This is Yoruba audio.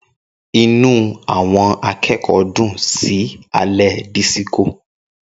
Inú àwọn akẹ́kọ̀ọ́ dùn sí alẹ́ disiko.